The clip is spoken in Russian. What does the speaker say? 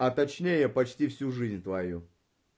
а точнее почти всю жизнь твою